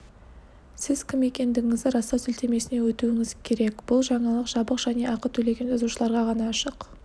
сіз кім екендігіңізді растау сілтемесіне өтуіңіз керек бұл жаңалық жабық және ақы төлеген жазылушыларға ғана ашық